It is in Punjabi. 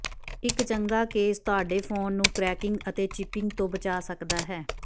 ਇੱਕ ਚੰਗਾ ਕੇਸ ਤੁਹਾਡੇ ਫੋਨ ਨੂੰ ਕ੍ਰੈਕਿੰਗ ਅਤੇ ਚਿਪਿੰਗ ਤੋਂ ਬਚਾ ਸਕਦਾ ਹੈ